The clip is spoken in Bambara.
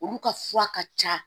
Olu ka fura ka ca